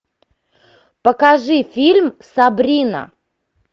покажи фильм сабрина